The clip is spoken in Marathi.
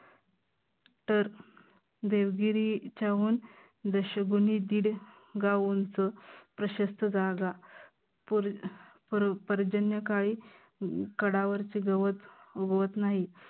तर देवगिरीच्याहून दशगुनी दीड गाव उंच प्रशस्त जागा पूर पर्जन्यकाळी कडावरचे गावात उगवत नाही.